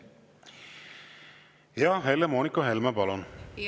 Helle-Moonika Helme, palun!